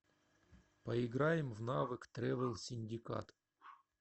поиграем в навык тревел синдикат